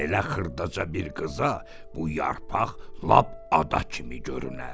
Belə xırdaca bir qıza bu yarpaq lap ada kimi görünər.